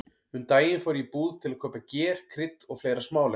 Um daginn fór ég í búð til að kaupa ger, krydd og fleira smálegt.